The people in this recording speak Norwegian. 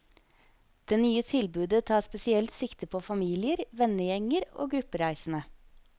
Det nye tilbudet tar spesielt sikte på familier, vennegjenger og gruppereisende.